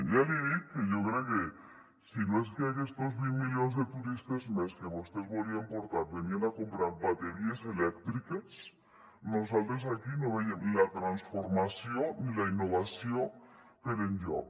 ja li dic que jo crec que si no és que aquests vint milions de turistes més que vostès volien portar venien a comprar bateries elèctriques nosaltres aquí no veiem la transformació ni la innovació per enlloc